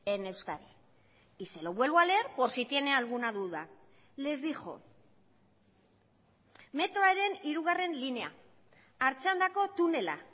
en euskadi y se lo vuelvo a leer por si tiene alguna duda les dijo metroaren hirugarren linea artxandako tunela